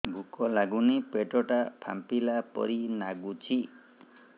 ଭୁକ ଲାଗୁନି ପେଟ ଟା ଫାମ୍ପିଲା ପରି ନାଗୁଚି